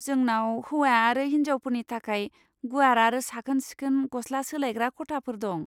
जोंनाव हौवा आरो हिन्जावफोरनि थाखाय गुवार आरो साखोन सिखोन गस्ला सोलायग्रा खथाफोर दं।